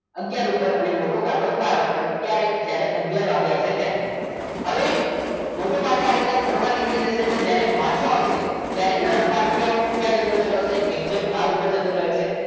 આગયાર ઉપર અને મોટો કાંટો બાર ઉપર ત્યારે જ્યારે આગયાર વાગે આવશે ત્યારે હવે મોટો કાંટો આ રીતના ફરવા નીકળી જશે અને પાછો આવશે ત્યારે નાનો કાંટો ક્યાં જતો રહ્યો છે exact બાર ઉપર જતો રહ્યો છે